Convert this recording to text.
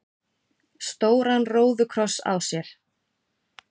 stóran róðukross á sér.